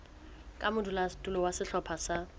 ka modulasetulo wa sehlopha sa